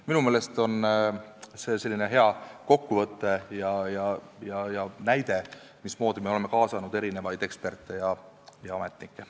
" Minu meelest on see selline hea kokkuvõte ja näide, mismoodi me oleme kaasanud eksperte ja ametnikke.